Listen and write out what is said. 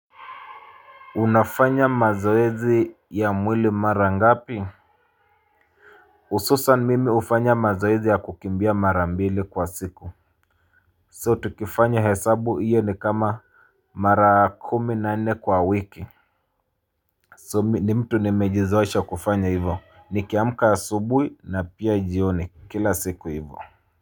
Unafanya mazoezi ya mwili mara ngapi hususan mimi hufanya mazoezi ya kukimbia mara mbili kwa siku So tukifanya hesabu iyo ni kama Mara kumi nane kwa wiki So ni mtu ni mejizosha kufanya hivyo ni kiamka subuhi na pia jioni kila siku hivyo.